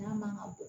N'a man kan ka bɔ